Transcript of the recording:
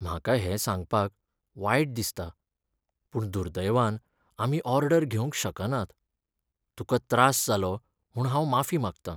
म्हाका हें सांगपाक वायट दिसता, पूण दुर्दैवान आमी ऑर्डर घेवंक शकनात. तुका त्रास जालो म्हूण हांव माफी मागतां.